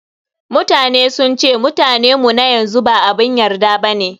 Mutane sun ce Mutane mu na yanzu ba abun yarda bane.